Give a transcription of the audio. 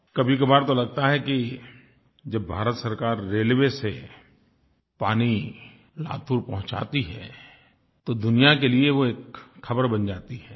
कभीकभार तो लगता है कि जब भारत सरकार रेलवे से पानी लातूर पहुँचाती है तो दुनिया के लिए वो एक ख़बर बन जाती है